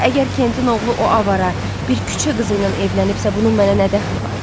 Əgər Kentin oğlu o avara bir küçə qızı ilə evlənibsə, bunun mənə nə dəxli var?